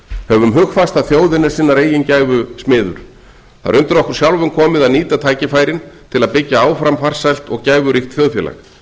höfum hugfast að þjóðin er sinnar eigin gæfu smiður það er undir okkur sjálfum komið að nýta tækifærin til að byggja áfram farsælt og gæfuríkt þjóðfélag